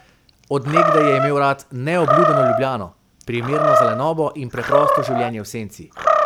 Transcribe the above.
Od nekdaj je imel rad neobljudeno Ljubljano, primerno za lenobno in preprosto življenje v senci.